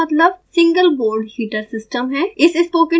sbhs का मतलब single board heater system है